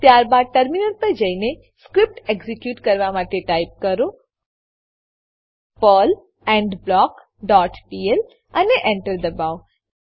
ત્યારબાદ ટર્મિનલ પર જઈને સ્ક્રીપ્ટ એક્ઝીક્યુટ કરવા માટે ટાઈપ કરો પર્લ એન્ડબ્લોક ડોટ પીએલ અને Enter દબાવો